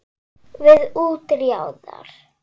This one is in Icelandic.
Við útjaðar